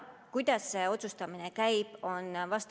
Kuidas see otsustamine käib?